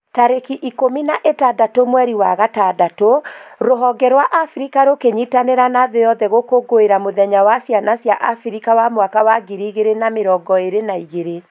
Tariki ya ikũmi na ĩtandatũ mweri wa gatandatũ, rũhonge rwa Abirika rũkĩnyitanĩra na thĩ yothe gũkũngũĩra mũthenya wa ciana cia Abirika wa mwaka wa 2022.